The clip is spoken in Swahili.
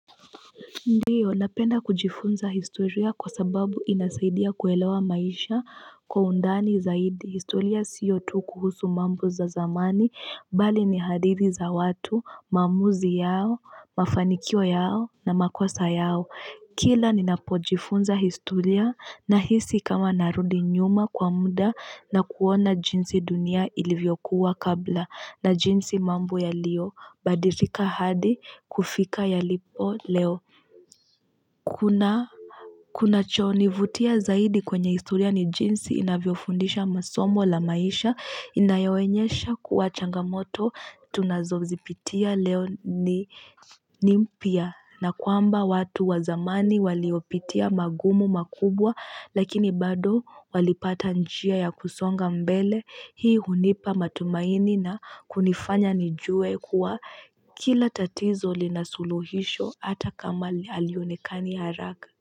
Ndiyo, napenda kujifunza historia kwa sababu inasaidia kuelewa maisha kwa undani zaidi. Historia siyo tu kuhusu mambo za zamani, bali ni hadithi za watu, maamuzi yao, mafanikio yao na makosa yao. Kila ninapojifunza historia na hisi kama narudi nyuma kwa muda na kuona jinsi dunia ilivyokuwa kabla na jinsi mambo yalio badilika hadi kufika yalipo leo. Kunachonivutia zaidi kwenye historia ni jinsi inavyofundisha masomo la maisha inayoonyesha kuwa changamoto tunazo zipitia leo ni ni mpya na kwamba watu wa zamani waliopitia magumu makubwa lakini bado walipata njia ya kusonga mbele hii hunipa matumaini na kunifanya nijue kuwa Kila tatizo linasuluhisho hata kama halionekani haraka.